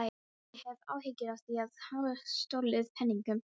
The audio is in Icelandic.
Ég hef áhyggjur af því að hafa stolið peningum.